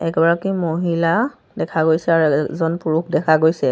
এগৰাকী মহিলা দেখা গৈছে আৰু এজন পুৰুষ দেখা গৈছে।